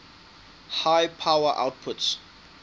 high power outputs